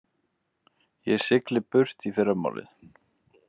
Ég sigli burt í fyrramálið.